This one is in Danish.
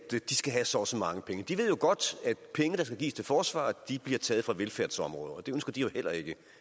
de skal have så og så mange penge de ved jo godt at penge der skal gives til forsvaret bliver taget fra velfærdsområder og det ønsker de heller ikke